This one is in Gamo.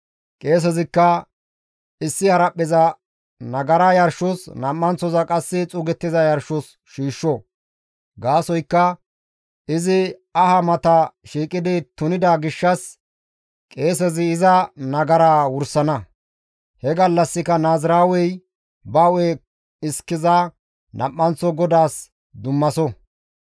Qeesezikka issi haraphpheza nagara yarshos nam7anththoza qasse xuugettiza yarshos shiishsho; gaasoykka izi aha mata shiiqidi tunida gishshas qeesezi iza nagaraa wursana; he gallassika naaziraawey ba hu7e iskeza nam7anththo GODAAS dummaso.